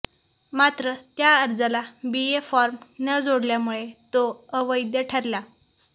मात्र त्या अर्जाला ए बी फॉर्म न जोडल्यामुळे तो अवैध ठरला